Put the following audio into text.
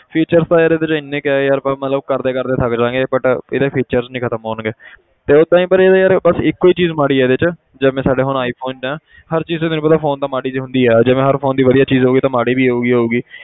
Feature ਤਾਂ ਯਾਰ ਇਹਦੇ 'ਚ ਇੰਨੇ ਕੁ ਹੈ ਯਾਰ ਬਸ ਮਤਲਬ ਕਰਦੇ ਕਰਦੇ ਥੱਕ ਜਾਵਾਂਗੇ but ਇਹਦੇ features ਨੀ ਖ਼ਤਮ ਹੋਣਗੇ ਤੇ ਪਰ ਯਾਰ ਬਸ ਇੱਕੋ ਹੀ ਚੀਜ਼ ਮਾੜੀ ਹੈ ਇਹਦੇ 'ਚ ਜਿਵੇਂ ਸਾਡੇ ਹੁਣ iphone ਹੈ ਹਰ ਚੀਜ਼ ਤਾਂ ਤੈਨੂੰ ਪਤਾ phone ਤਾਂ ਮਾੜੀ ਤਾਂ ਹੁੰਦੀ ਹੈ ਜਿਵੇਂ ਹਰ phone ਦੀ ਵਧੀਆ ਚੀਜ਼ ਹੋ ਗਈ ਤਾਂ ਮਾੜੀ ਵੀ ਹੋਊਗੀ ਹੋਊਗੀ।